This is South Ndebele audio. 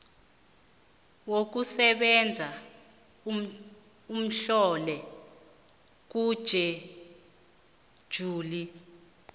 yokusebenza etlolwe kutjhejuli